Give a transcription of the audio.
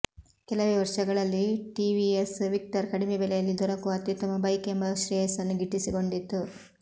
ಕೆಲವೇ ವರ್ಷಗಳಲ್ಲಿ ಟಿವಿಎಸ್ ವಿಕ್ಟರ್ ಕಡಿಮೆ ಬೆಲೆಯಲ್ಲಿ ದೊರಕುವ ಅತ್ಯುತ್ತಮ ಬೈಕ್ ಎಂಬ ಶ್ರೇಯಸ್ಸನ್ನು ಗಿಟ್ಟಿಸಿಕೊಂಡಿತ್ತು